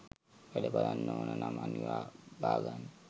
වැඩ බලන්න ඕන නම් අනිවා බාගන්න